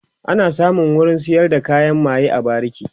ana samun wurin sayar da kayan maye a bariki